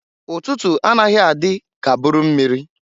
Ụtụtụ a naghị adị ka buru mmịrị.